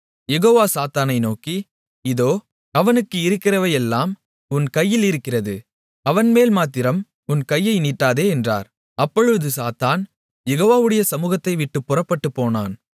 யெகோவா சாத்தானை நோக்கி இதோ அவனுக்கு இருக்கிறவையெல்லாம் உன் கையிலிருக்கிறது அவன்மேல்மாத்திரம் உன் கையை நீட்டாதே என்றார் அப்பொழுது சாத்தான் யெகோவாவுடைய சமுகத்தைவிட்டுப் புறப்பட்டுப்போனான்